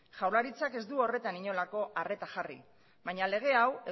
jaurlaritzak ez du horretan inolako arreta jarri baina lege hau